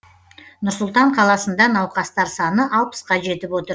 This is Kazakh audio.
нұр сұлтан қаласында науқастар саны алпысқа жетіп отыр